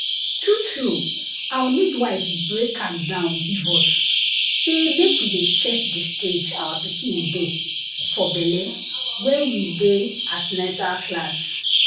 true true our midwife break am down give us say make we dey check the stage our pikin dey for belle wen we dey an ten atal class.